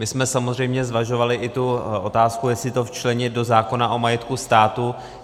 My jsme samozřejmě zvažovali i tu otázku, jestli to včlenit do zákona o majetku státu.